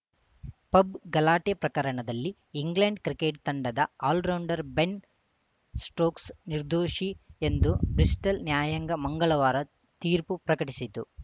pub ಗಲಾಟೆ ಪ್ರಕರಣದಲ್ಲಿ England cricket ತಂಡದ ಆಲ್ರೌಂಡರ್‌ ಬೆನ್‌ ಸ್ಟೋಕ್ಸ್‌ ನಿರ್ದೋಷಿ ಎಂದು ಬ್ರಿಸ್ಟಲ್‌ ನ್ಯಾಯಾಂಗ ಮಂಗಳವಾರ ತೀರ್ಪು ಪ್ರಕಟಿಸಿತು